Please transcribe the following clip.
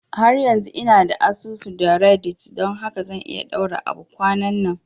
Har yanzu ina da asusu da reddit don haka zan iya ɗaura abu kwananan